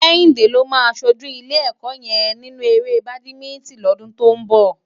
Kehinde ló má ṣójú ilé èkò yèn ninú éré bádimintin lòdún tó n bò